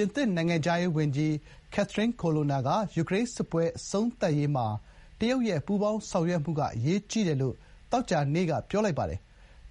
င်သစ်နိုင်ငံခြားရေးဝန်ကြီး Catherine Colonna က ယူကရိန်းစစ်ပွဲ အဆုံးသတ်ရေးမှာ တရုတ်ရဲ့ ပူးပေါင်းဆောင်ရွက်မှုက အရေးကြီးတယ်လို့ သောကြာနေ့က ပြောလိုက်ပါတယ်။